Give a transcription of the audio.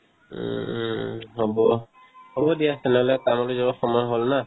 উম উম হ'ব, হ'ব দিয়া তেনেহ'লে কামলৈ যোৱাৰ সময় হ'ল না